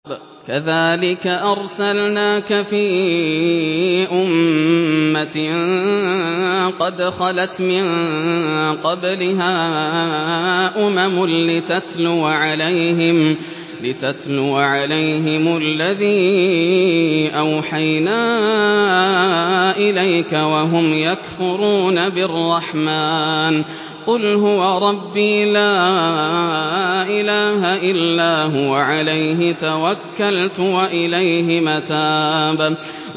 كَذَٰلِكَ أَرْسَلْنَاكَ فِي أُمَّةٍ قَدْ خَلَتْ مِن قَبْلِهَا أُمَمٌ لِّتَتْلُوَ عَلَيْهِمُ الَّذِي أَوْحَيْنَا إِلَيْكَ وَهُمْ يَكْفُرُونَ بِالرَّحْمَٰنِ ۚ قُلْ هُوَ رَبِّي لَا إِلَٰهَ إِلَّا هُوَ عَلَيْهِ تَوَكَّلْتُ وَإِلَيْهِ مَتَابِ